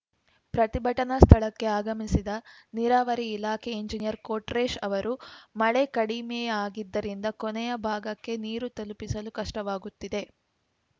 ಪ್ರತಿಭಟನಾ ಸ್ಥಳಕ್ಕೆ ಆಗಮಿಸಿದ ನೀರಾವರಿ ಇಲಾಖೆ ಇಂಜಿನಿಯರ್‌ ಕೊಟ್ರೇಶ್‌ ಅವರು ಮಳೆ ಕಡಿಮೆಯಾಗಿದ್ದರಿಂದ ಕೊನೆಯ ಭಾಗಕ್ಕೆ ನೀರು ತಲುಪಿಸಲು ಕಷ್ಟವಾಗುತ್ತಿದೆ